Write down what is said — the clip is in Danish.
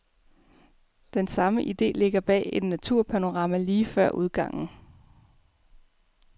Den samme ide ligger bag et naturpanorama lige før udgangen.